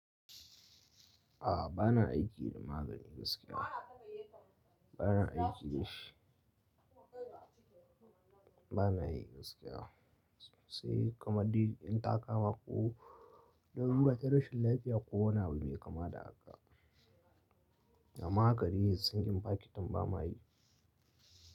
A'a bana aiki da magani gaskiya. Bana aiki da shi. Bana yi gaskiya. Sai kamar in ta kama ko, larura da rashin lafiya ko wani abu mai kama da haka. Amma haka dai, sinƙin fakitin bama yi.